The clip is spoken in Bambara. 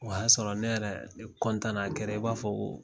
O y'a sɔrɔ ne yɛrɛ na na kɛra i b'a fɔ ko